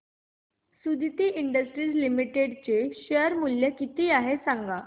Suditi industries limited चे share मूल्य किती आहे सांगा